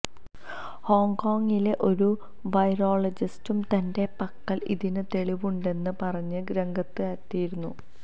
ഹോങ്കോങ്ങിലെ ഒരു വൈറോളജിസ്റ്റും തന്റെ പക്കല് ഇതിന് തെളിവുണ്ടെന്ന് പറഞ്ഞ് രംഗത്തെത്തിയിരുന്നു